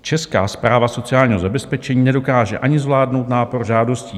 Česká správa sociálního zabezpečení nedokáže ani zvládnout nápor žádostí.